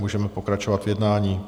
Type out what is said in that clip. Můžeme pokračovat v jednání.